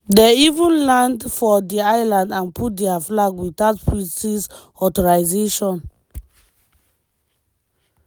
dem even land for di island and put dia flag without british authorisation.